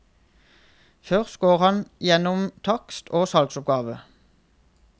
Først går han igjennom takst og salgsoppgave.